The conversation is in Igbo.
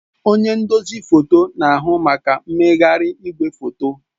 Onye nduzi foto na-ahụ maka mmegharị igwefoto.